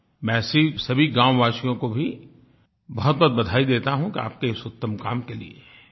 मैं ऐसे सभी गाँववासियों को भी बहुतबहुत बधाई देता हूँ आपके इस उत्तम काम के लिए